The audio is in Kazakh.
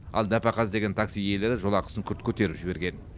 ал нәпақа іздеген такси иелері жолақысын күрт көтеріп жіберген